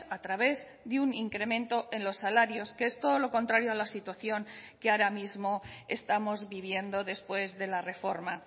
a través de un incremento en los salarios que es todo lo contrario a la situación que ahora mismo estamos viviendo después de la reforma